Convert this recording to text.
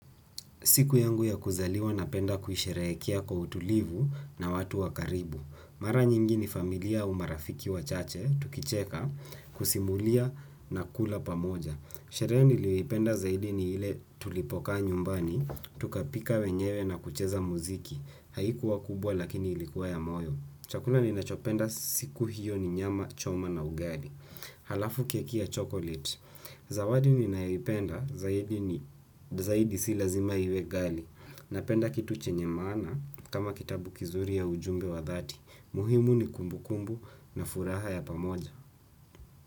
Siku yangu ya kuzaliwa napenda kuisherehekea kwa utulivu na watu wa karibu. Mara nyingi ni familia au marafiki wachache, tukicheka, kusimulia na kula pamoja. Sherehe niliipenda zaidi ni ile tulipokaa nyumbani, tukapika wenyewe na kucheza muziki. Haikuwa kubwa lakini ilikuwa ya moyo. Chakula ninachopenda siku hiyo ni nyama choma na ugali. Halafu keki ya chocolate. Zawadi ninaipenda zaidi ni zaidi si lazima iwe ghali. Napenda kitu chenye maana kama kitabu kizuri ya ujumbe wa dhati. Muhimu ni kumbukumbu na furaha ya pamoja.